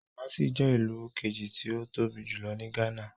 Kumasi je ilu keji ti o tobi julo ni Ghana.